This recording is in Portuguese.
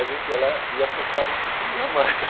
A gente ia lá e apostava quem comia mais.